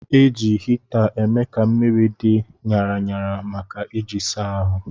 Eji hita eme ka mmiri dị ṅara ṅara maka iji saa ahụ.